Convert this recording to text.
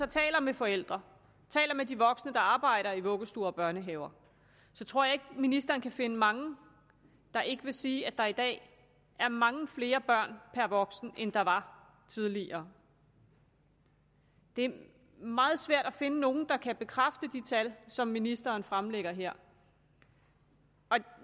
taler med forældre taler med de voksne der arbejder i vuggestuer og børnehaver så tror jeg ikke ministeren kan finde mange der ikke vil sige at der i dag er mange flere børn per voksen end der var tidligere det er meget svært at finde nogen der kan bekræfte de tal som ministeren fremlægger her